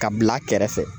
Ka bila kɛrɛfɛ